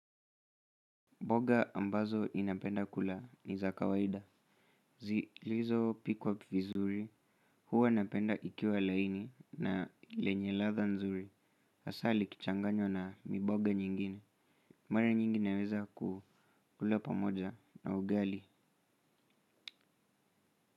Boga ambazo inapenda kula ni za kawaida. Zilizopikwa vizuri, huwa napenda ikiwa laini na lenye latha nzuri. Hasa likichanganywa na miboga nyingine. Mara nyingi naweza ku kula pamoja na ugali.